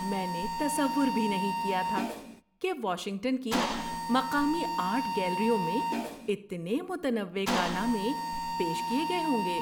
میں نے تصور بھی نہیں کیا تھا کہ واشنگٹن کی مقامی آرٹ گیلریوں میں اتنے متنوع کارنامے پیش کیے گئے ہوں گے۔